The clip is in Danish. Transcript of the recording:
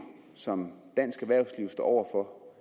som dansk erhvervsliv står